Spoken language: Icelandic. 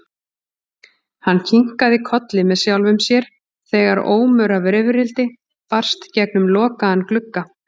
Hann kinkaði kolli með sjálfum sér þegar ómur af rifrildi barst gegnum lokaðan glugga.